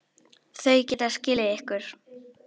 Þau geta skilið ykkur.